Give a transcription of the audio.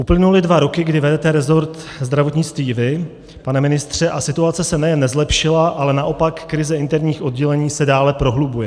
Uplynuly dva roky, kdy vedete resort zdravotnictví vy, pane ministře, a situace se nejen nezlepšila, ale naopak, krize interních oddělení se dále prohlubuje.